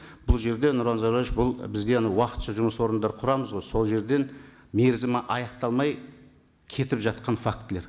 бұл жерде нұрлан зайроллаевич бұл бізге анау уақытша жұмыс орындар құрамыз ғой сол жерден мерзімі аяқталмай кетіп жатқан фактілер